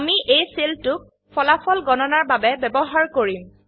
আমি এই সেলটোক ফলাফল গণনাৰ বাবে ব্যবহাৰ কৰিম